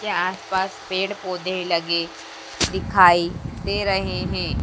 के आसपास पेड़ पौधे लगे दिखाई दे रहे हैं।